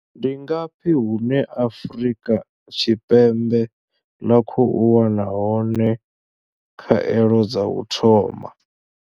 Ndi ngafhi hune Afrika Tshipembe ḽa khou wana hone khaelo dza u thoma?